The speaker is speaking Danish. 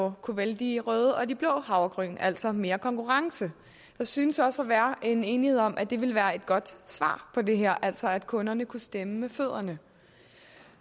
at kunne vælge de røde og de blå havregryn altså mere konkurrence der synes også at være enighed om at det ville være et godt svar på det her altså at kunderne kunne stemme med fødderne